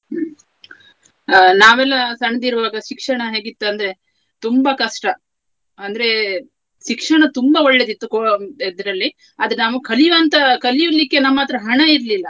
ಆ ನಾವೆಲ್ಲಾ ಸಣ್ಣದಿರುವಾಗ ಶಿಕ್ಷಣ ಹೇಗಿತ್ತು ಅಂದ್ರೆ ತುಂಬಾ ಕಷ್ಟ. ಅಂದ್ರೆ ಶಿಕ್ಷಣ ತುಂಬಾ ಒಳ್ಳೆಯದಿತ್ತು co~ ಇದ್ರಲ್ಲಿ. ಆದರೆ ನಮ್ಗೆ ಕಲಿವಂತಹ ಕಲಿಲಿಕ್ಕೆ ನಮ್ಮತ್ರ ಹಣ ಇರ್ಲಿಲ್ಲ.